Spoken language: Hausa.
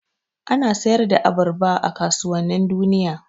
Ana sayar da abarba a kasuwannin duniya.